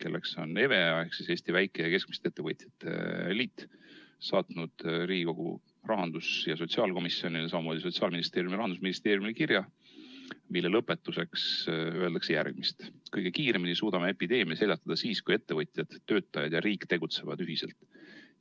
kelleks on EVEA ehk Eesti Väike- ja Keskmiste Ettevõtjate Assotsiatsioon, saatnud Riigikogu rahandus- ja sotsiaalkomisjonile, samamoodi Sotsiaalministeeriumile ja Rahandusministeeriumile kirja, mille lõpetuseks öeldakse järgmist: "Kõige kiiremini suudame epideemia seljatada siis, kui ettevõtjad, töötajaid ja riik tegutsevad ühiselt.